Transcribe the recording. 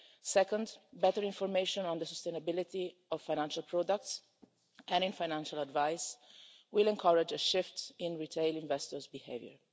Second, better information on the sustainability of financial products and in financial advice will encourage a shift in retail investors' behaviour.